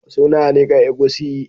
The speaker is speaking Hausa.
Suna nika egusi